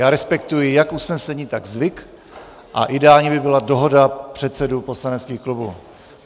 Já respektuji jak usnesení, tak zvyk a ideální by byla dohoda předsedů poslaneckých klubů.